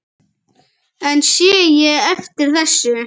En sé ég eftir þessu?